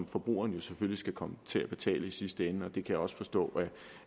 forbrugeren jo selvfølgelig kommer til at betale i sidste ende og det kan jeg også forstå